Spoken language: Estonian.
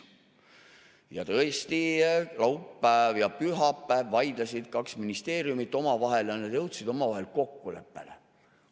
Ja tõesti, laupäeval ja pühapäeval vaidlesid kaks ministeeriumit omavahel ja nad jõudsid kokkuleppele.